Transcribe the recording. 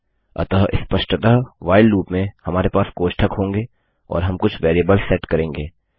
अतः स्पष्टतः while loop में हमारे पास कोष्ठक होंगे और हम कुछ वेरिएबल्स सेट करेंगे